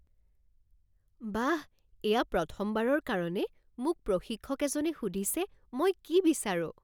বাহ! এয়া প্ৰথমবাৰৰ কাৰণে মোক প্ৰশিক্ষক এজনে সুধিছে মই কি বিচাৰোঁ